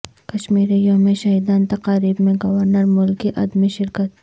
کشمیر یوم شہیدان تقاریب میں گورنر ملک کی عدم شرکت